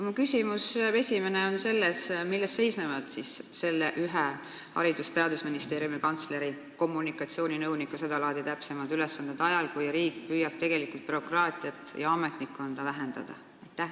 Minu esimene küsimus on selline: milles seisnevad selle Haridus- ja Teadusministeeriumi kantsleri kommunikatsiooninõuniku seda laadi täpsemad ülesanded ajal, kui riik püüab bürokraatiat ja ametnikkonda vähendada?